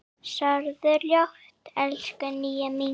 Sofðu rótt, elsku Nýja mín.